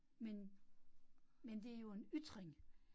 Men, men det jo en ytring